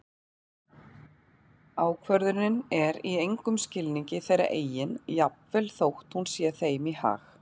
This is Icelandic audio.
Ákvörðunin er í engum skilningi þeirra eigin jafnvel þótt hún sé þeim í hag.